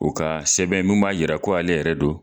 U ka sɛbɛn mun b'a yira ko ale yɛrɛ don